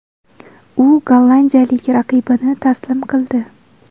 U gollandiyalik raqibini taslim qildi.